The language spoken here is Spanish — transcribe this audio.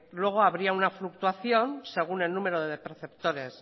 luego habría una fluctuación según el número de perceptores